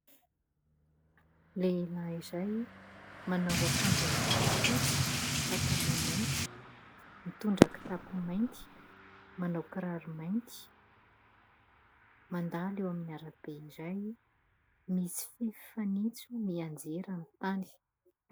Lehilahy iray manao ankanjo ambony fotsy, pataloha mainty, mitondra kitapo mainty, manao kiraro mainty. Mandalo eo amin'ny ara-be iray. Misy fanitso mianjera amin'ny tany.